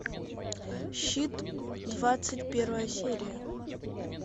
щит двадцать первая серия